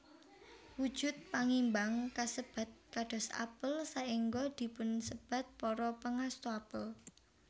Wujud pangimbang kasebat kados apel saéngga dipunsebat Para Pangasta Apel